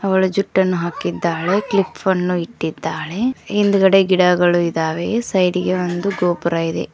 ಅವಳು ಜುಟ್ಟನ್ನು ಹಾಕಿದ್ದಾಳೆ ಕ್ಲಿಪ್ ಅನ್ನು ಇಟ್ಟಿದ್ದಾಳೆ ಹಿಂದ್ಗಡೆ ಗಿಡಗಳು ಇದಾವೆ ಸೈಡ್ ಗೆ ಒಂದು ಗೋಪುರ ಇದೆ.